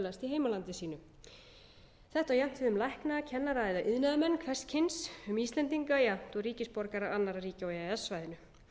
heimalandi sínu þetta á jafnt við um lækna kennara eða iðnaðarmenn hvers kyns um íslendinga jafnt og ríkisborgara annarra ríkja á e e s svæðinu